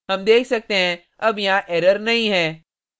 हम देख सकते हैं अब यहाँ error नहीं है